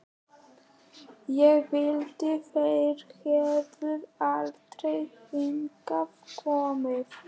Ég vildi þeir hefðu aldrei hingað komið.